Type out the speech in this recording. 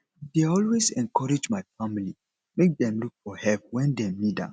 i dey always encourage my family make dem look for help wen dem need am